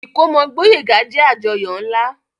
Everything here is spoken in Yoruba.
Ìkómọ Gboyega jẹ àjọyọ̀ nla.